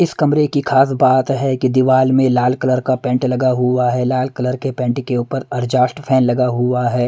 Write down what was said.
इस कमरे की खास बात है कि दीवार में लाल कलर का पेंट लगा हुआ है लाल कलर के पेंट के ऊपर एडजस्ट फैन लगा हुआ है।